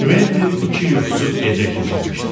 Kventin iki yuxusuz gecə keçirmişdi.